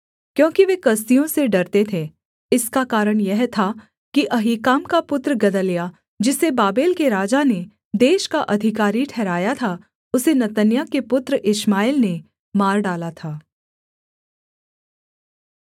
क्योंकि वे कसदियों से डरते थे इसका कारण यह था कि अहीकाम का पुत्र गदल्याह जिसे बाबेल के राजा ने देश का अधिकारी ठहराया था उसे नतन्याह के पुत्र इश्माएल ने मार डाला था